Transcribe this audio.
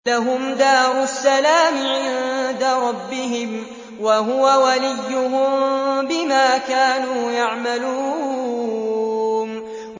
۞ لَهُمْ دَارُ السَّلَامِ عِندَ رَبِّهِمْ ۖ وَهُوَ وَلِيُّهُم بِمَا كَانُوا يَعْمَلُونَ